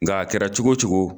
Nga a kɛra cogo cogo.